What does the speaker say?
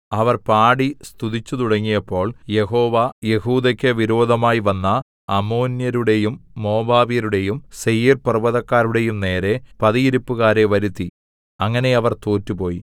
അവർ പാടി സ്തുതിച്ചുതുടങ്ങിയപ്പോൾ യഹോവ യെഹൂദെക്കു വിരോധമായി വന്ന അമ്മോന്യരുടെയും മോവാബ്യരുടെയും സേയീർപർവ്വതക്കാരുടെയും നേരെ പതിയിരിപ്പുകാരെ വരുത്തി അങ്ങനെ അവർ തോറ്റുപോയി